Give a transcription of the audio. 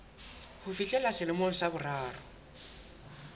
ho fihlella selemong sa boraro